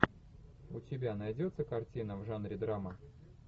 у тебя найдется картина в жанре драма